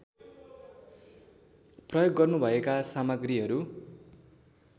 प्रयोग गर्नुभएका सामग्रीहरू